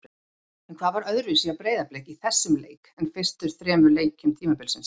En hvað var öðruvísi hjá Breiðablik í þessum leik en fyrstu þremur leikjum tímabilsins?